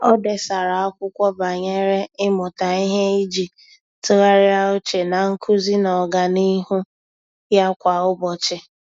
Ọ́ dèsara ákwụ́kwọ́ banyere ị́mụ́ta ihe iji tụ́gharị́a úchè na nkuzi na ọ́gànihu ya kwa ụ́bọ̀chị̀.